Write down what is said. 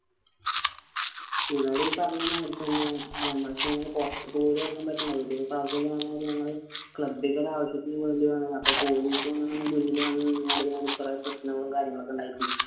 ഇവിടെ ഈ പറഞ്ഞ മാതിരി തന്നെ നമ്മക്ക് ഇങ്ങനെ പുറത്തക്ക് പോലും ഇറങ്ങാൻ പറ്റുല്ല ഞങ്ങൾ club ക്കു ഒരു ആവശ്യത്തിന് വേണ്ടി അപ്പോ police വന്ന് മുന്നിൽ നിന്നങ്ങണ്ട് കുറേ പ്രശ്നങ്ങളും കാര്യങ്ങളും ഒക്കെ ഉണ്ടായിക്കണു